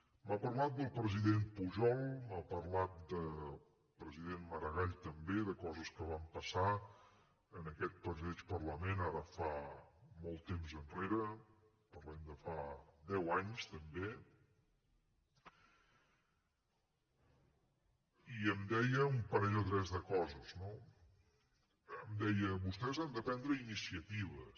m’ha parlat del president pujol m’ha parlat del president maragall també de coses que van passar en aquest mateix parlament ara fa molt temps enrere parlem de fa deu anys també i em deia un parell o tres de coses no em deia vostès han de prendre iniciatives